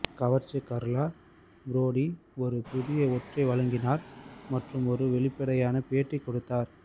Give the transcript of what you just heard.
கவர்ச்சி Carla Bruni ஒரு புதிய ஒற்றை வழங்கினார் மற்றும் ஒரு வெளிப்படையான பேட்டி கொடுத்தார்